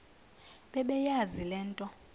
bebeyazi le nto